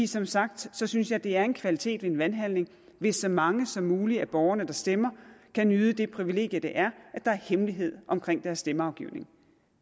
som sagt synes jeg det er en kvalitet i en valghandling hvis så mange som muligt af borgerne der stemmer kan nyde det privilegium det er at der er hemmelighed omkring deres stemmeafgivning